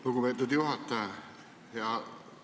Lugupeetud juhataja!